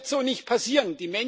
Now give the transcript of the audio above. Das wird so nicht passieren.